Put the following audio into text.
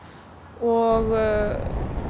og